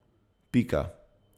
Pika.